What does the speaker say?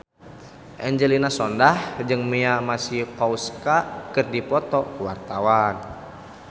Angelina Sondakh jeung Mia Masikowska keur dipoto ku wartawan